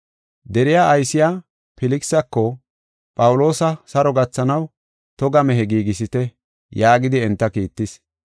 Deriya aysiya Filkisako Phawuloosa saro gathanaw toga mehe giigisite” yaagidi enta kiittis.